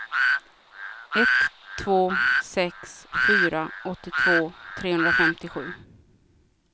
ett två sex fyra åttiotvå trehundrafemtiosju